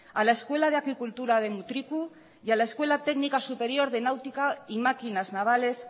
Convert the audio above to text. a la escuela de agricultura de mutriku y a la escuela técnica superior de náutica y máquinas navales